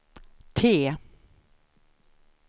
T